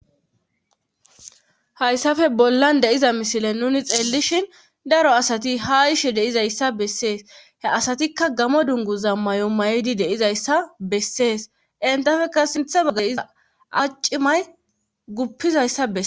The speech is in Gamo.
hayssafe bollan deiza misile nuni xeellishin daro asati ha ishe deizayssa bessees he asatikka gamo dungu zam may7o may7idi deizayssa bessees entafeka sinthe baggay iza acimay guppizayssa bes